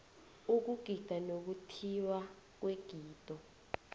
ukugida nokuthiywa kwegido